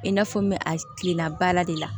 I n'a fɔ n bɛ a kilenna baara de la